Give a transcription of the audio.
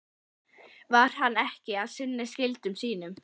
Var hann ekki að sinna skyldum sínum?